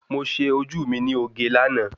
Mo ṣe ojú mi ní oge láàná